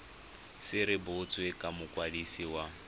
se rebotswe ke mokwadisi wa